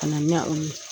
Ka na ɲa o ye